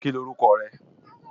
Ki l órúkò re?